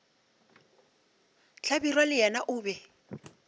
hlabirwa le yena o be